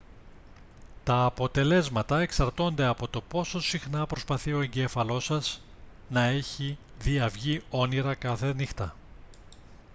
τα αποτελέσματα εξαρτώνται από το πόσο συχνά προσπαθεί ο εγκέφαλός σας να έχει διαυγή όνειρα κάθε νύχτα